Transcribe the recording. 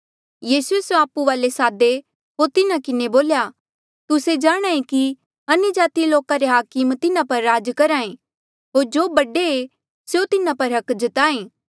यीसूए स्यों सभ आपु वाले सादे होर तिन्हा किन्हें बोल्या तुस्से जाणहां ऐें कि अन्यजाति लोका रे हाकम तिन्हा पर राज करहा ऐें होर जो बडे ऐें स्यों तिन्हा पर हक जताहें